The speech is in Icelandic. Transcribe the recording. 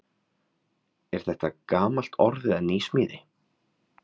Er þetta gamalt orð eða nýsmíði?